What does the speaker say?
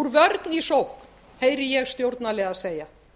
úr vörn í sókn heyri ég stjórnarliða segja